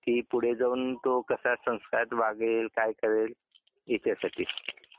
की पुढे जाऊन तो कसा संस्कारात वागेल काय करेल याच्यासाठी